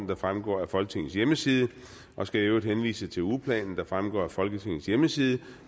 der fremgår af folketingets hjemmeside jeg skal i øvrigt henvise til ugeplanen der fremgår af folketingets hjemmeside